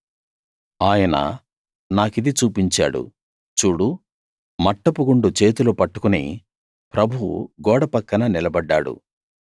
ఆయన నాకిది చూపించాడు చూడు మట్టపు గుండు చేతిలో పట్టుకుని ప్రభువు గోడ పక్కన నిలబడ్డాడు